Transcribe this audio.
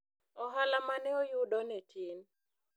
ohala mane oyudo ne tin